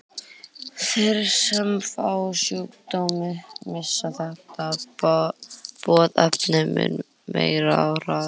Þeir sem fá sjúkdóminn missa þetta boðefni mun meira og hraðar.